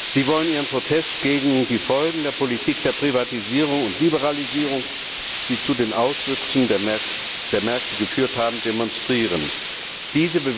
Sie wollen ihrem Protest gegen die Folgen der Politik der Privatisierung und Liberalisierung, die zu den Auswüchsen der Märkte geführt haben, Ausdruck verleihen.